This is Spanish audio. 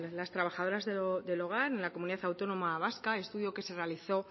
las trabajadoras del hogar en la comunidad autónoma vasca estudio que se realizó